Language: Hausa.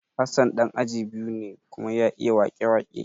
Hassan ɗan aji biyu ne kuma ya iya wake-wake